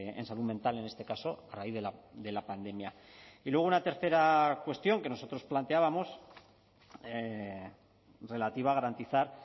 en salud mental en este caso a raíz de la pandemia y luego una tercera cuestión que nosotros planteábamos relativa a garantizar